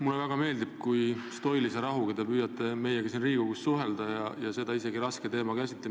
Mulle väga meeldib see stoiline rahu, millega te püüate meiega siin Riigikogus suhelda, ja seda isegi nii raske teema puhul.